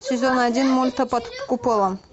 сезон один мульта под куполом